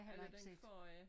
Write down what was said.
Eller den forrige